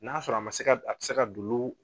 N'a sɔrɔ a ma se ka a bɛ se ka dolo